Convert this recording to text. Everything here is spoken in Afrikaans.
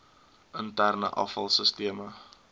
interne afval sisteme